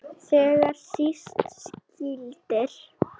Þegar síst skyldi.